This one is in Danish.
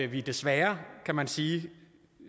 vi desværre kan man sige